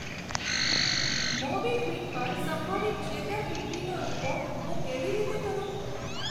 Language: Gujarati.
મોબીક્વિક પર સંભવિત છેતરપિંડીનો રીપોર્ટ હું કેવી રીતે કરું?